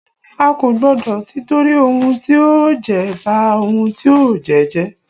A kò gbọdọ tìtorí ohun tí a ó jẹ, ba ohun tí a ó jẹ́ jẹ́.